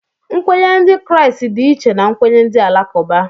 Nkwenye ndị Kraịst dị iche na nkwenye ndị Alakụba